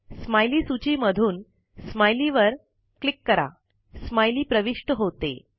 smiley सूची मधून smiley वर क्लिक करा स्माइली प्रविष्ट होते